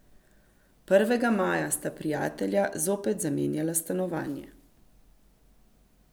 Prvega maja sta prijatelja zopet zamenjala stanovanje .